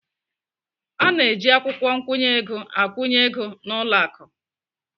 A na-eji akwụkwọ nkwụnye ego akwụnye ego n'ụlọ akụ.